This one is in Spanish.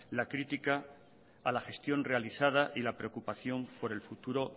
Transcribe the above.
la crítica a la gestión realizada y la preocupación por el futuro